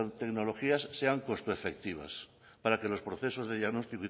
tecnologías sean puesto efectivas para que los procesos de